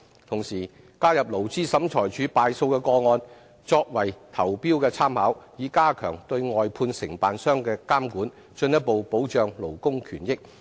同時，加入勞資審裁處敗訴的個案，作為投標的參考，以加強對外判承辦商的監管，進一步保障勞工權益。